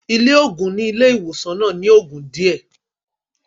Ilé òògùn nílé ìwòsàn náà ní ogún díẹ̀.